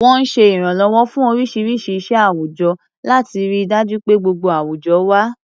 Wọ́n ń ṣe ìrànlọ́wọ́ fún oríṣiríṣi iṣẹ́ àwùjọ, láti rí i dájú pé gbogbo àwùjọ wà.